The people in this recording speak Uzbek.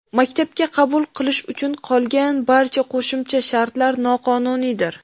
Maktabga qabul qilish uchun qolgan barcha ‘qo‘shimcha shartlar’ noqonuniydir”.